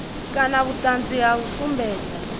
kana vhuṱanzi ha u sumbedza